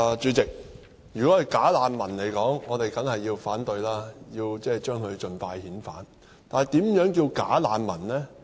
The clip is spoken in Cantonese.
主席，如果是"假難民"，我們當然要反對，並且將他們盡快遣返，但何謂"假難民"呢？